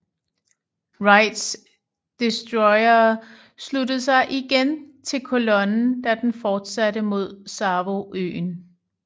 Wrights destroyere sluttede sig igen til kolonnen da den fortsatte mod Savoøen